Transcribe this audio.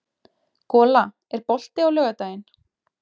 Gola, er bolti á laugardaginn?